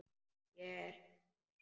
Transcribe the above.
Ég er hjá þér.